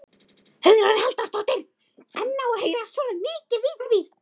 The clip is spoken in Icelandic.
Hugrún Halldórsdóttir: En á að heyrast svona mikið í því?